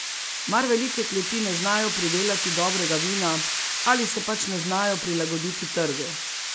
Mar velike kleti ne znajo pridelati dobrega vina ali se pač ne znajo prilagoditi trgu?